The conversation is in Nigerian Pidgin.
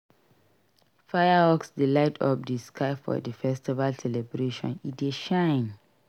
Fireworks dey light up di sky for di festival celebration e dey shine.